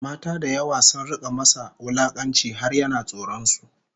Mata da yawa sun rika masa wulakanci har yana tsoron su